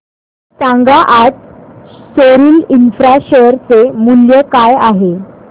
सांगा आज Soril Infra share चे मूल्य काय आहे